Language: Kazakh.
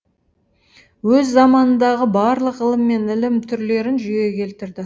өз заманындағы барлық ғылым мен ілім түрлерін жүйеге келтірді